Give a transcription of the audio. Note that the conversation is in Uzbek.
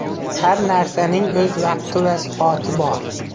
Har narsaning o‘z vaqti va soati bor.